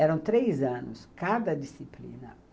Eram três anos, cada disciplina.